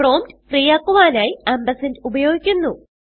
prompt free ആക്കുവാനായി ഉപയോഗിക്കുന്നു